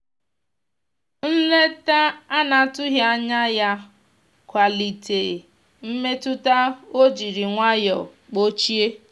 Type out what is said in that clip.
nleta anatughi anya ya kwalite mmetụta o jiri nwayo kpochie.